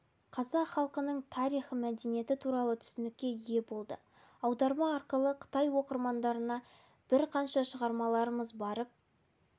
қазақ халқының тарихы мәдениеті туралы түсінікке ие болды аударма арқылы қытай оқырмандарына бірқанша шығармаларымыз барып